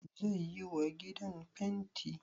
Zai yiwa gidan fenti?